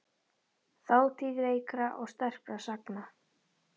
Þátíð veikra og sterkra sagna.